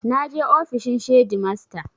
Na je ofishin shedimasta